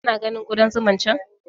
Ka na ganin Ƙudan zuman can?